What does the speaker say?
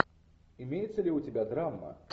имеется ли у тебя драма